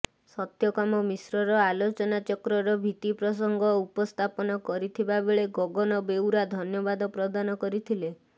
ସତ୍ୟକାମ ମିଶ୍ର୍ର ଆଲୋଚନାଚକ୍ରର ଭିତ୍ତିପ୍ରସଙ୍ଗ ଉପସ୍ଥାପନ କରିଥିବା ବେଳେ ଗଗନ ବେଉରା ଧନ୍ୟବାଦ ପ୍ର୍ରଦାନ କରିଥିଲେ